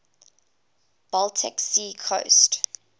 baltic sea coast